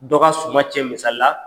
Dɔ ka suma cɛn misali la